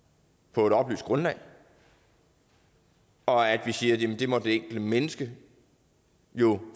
på et oplyst grundlag og at vi siger at det må det enkelte menneske jo